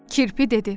Kirpi dedi: